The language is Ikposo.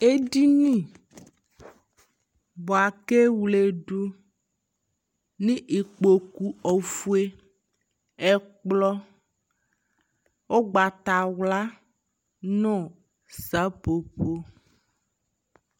ɛdini bʋakʋ ɛwlɛdʋ nʋ ikpɔkʋ ɔƒʋɛ, ɛkplɔ ɔgbatawla nʋ sapɔpɔ